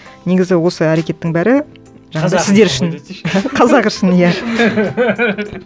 негізі осы әрекеттің бәрі сіздер үшін қазақ үшін иә